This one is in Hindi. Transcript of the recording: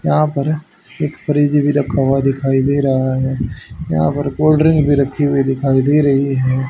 यहां पर एक फ्रिज भी रखा हुआ दिखाई दे रहा है यहां पर कोल्ड ड्रिंक भी रखी हुई दिखाई दे रही है।